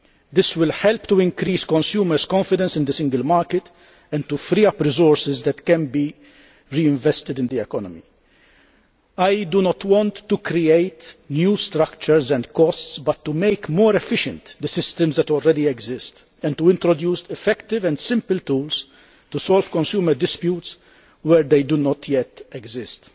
This will help to increase consumers' confidence in the single market and to free up resources that can be reinvested in the economy. I do not want to create new structures and costs, but to improve the efficiency of the systems which already exist and to introduce effective and simple tools to solve consumer disputes where they do not yet exist.